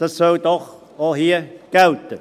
Dies soll doch auch hier gelten.